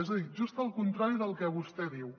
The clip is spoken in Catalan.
és a dir just el contrari del que vostè diu